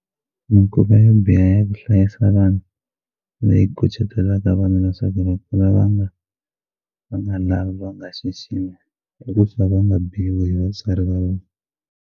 Mikhuva yo biha ya ku hlayisa vana leyi kucetelaka vana leswaku va kula va nga va nga lavi va nga xiximi i ku va va nga biwi hi vatswari va vona.